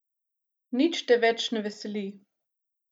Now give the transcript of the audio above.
Nič te več ne veseli.